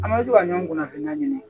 An bɛ to ka ɲɔgɔn kunnafoniya ɲini